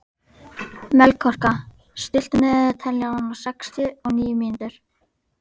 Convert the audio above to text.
Melkorka, stilltu niðurteljara á sextíu og níu mínútur.